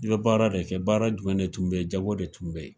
I bɛ baara de kɛ, baara jumɛn de tun bɛ yen, jago de tun bɛ yen.